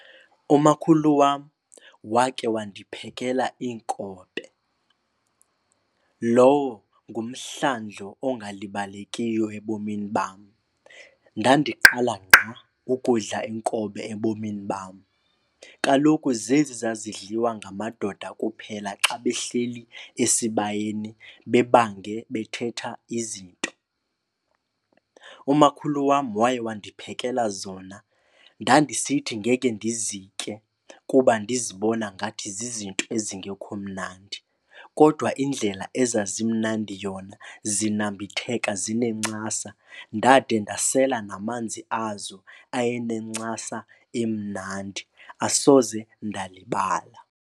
Umakhulu wam wake wandiphekela iinkobe. Lowo ngumhlandlo ongalibalekiyo ebomini bam. Ndandiqala ngqa ukudla iinkobe ebomini bam. Kaloku zezi zazidliwa ngamadoda kuphela xa behleli esibayeni bebange, bethetha izinto. Umakhulu wam waye wandiphekela zona. Ndandisithi ngeke ndizitye kuba ndizibona ngathi zizinto ezingekho mnandi kodwa indlela ezazimnandi yona, zinambitheka zinencasa. Ndade ndasela namanzi azo ayenencasa emnandi, asoze ndalibala.